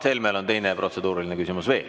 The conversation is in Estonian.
Mart Helmel on teine protseduuriline küsimus veel.